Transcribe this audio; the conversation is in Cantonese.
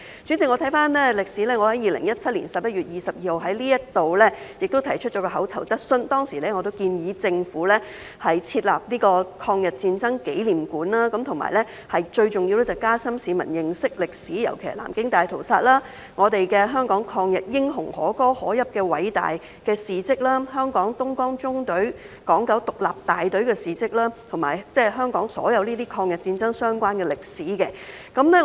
主席，我回顧歷史，在2017年11月22日，我也在這裏提出一項口頭質詢，當時我建議政府設立抗日戰爭紀念館，而最重要的是加深市民認識歷史，尤其是南京大屠殺、香港抗日英雄可歌可泣的偉大事蹟、香港東江縱隊港九獨立大隊的事蹟，以及香港所有抗日戰爭相關的歷史。